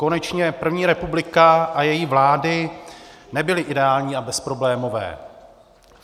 Konečně první republika a její vlády nebyly ideální a bezproblémové.